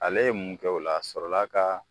Ale ye mun kɛ o la a sɔrɔla ka